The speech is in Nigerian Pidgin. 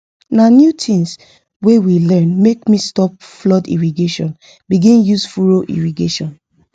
na new things wey we learn make me stop flood irrigation begin use use furrow irrigation